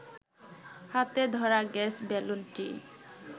হাতে ধরা গ্যাস বেলুনটি